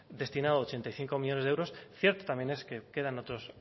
destinado ochenta y cinco millónes de euros cierto también es que quedan otros